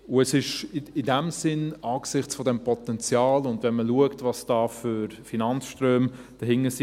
Es ist in diesem Sinn angesichts des Potenzials und wenn man schaut, was da für Finanzströme dahinter sind …